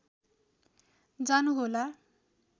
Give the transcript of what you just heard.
जानु होला